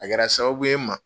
A kɛra sababu ye n ma.